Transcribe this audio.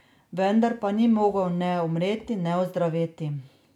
Vendar pa ni mogel ne umreti ne ozdraveti.